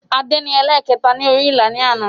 Adé ni ẹlẹ̀kẹta ni orí ìlà ni àná